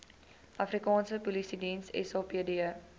afrikaanse polisiediens sapd